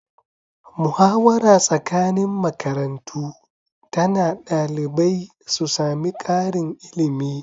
Muhawara tsakanin makarantu tana ɗalibai su sami karin ilimi